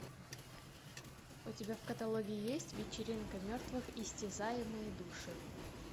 у тебя в каталоге есть вечеринка мертвых истязаемые души